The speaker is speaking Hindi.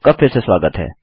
आपका फिर से स्वागत है